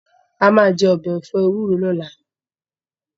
A máa jẹ ọbẹ̀ ẹ̀fọ́ ewúro lọ́la